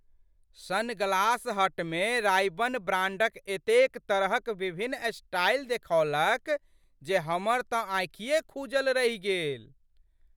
Sunglass हटमे Ray Ban ब्रांडक एतेक तरहक विभिन्न स्टाइल देखौलक जे हमर तँ आँखिए खूजल रहि गेल।